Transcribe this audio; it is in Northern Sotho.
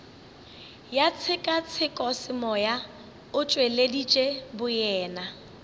ya tshekatshekosemoya o tšweleditše boyena